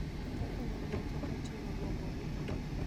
kaka nyamburko ma ting�o gombogi.